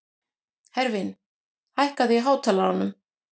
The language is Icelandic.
Hervin, hækkaðu í hátalaranum.